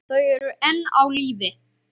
Þau eru enn á lífi.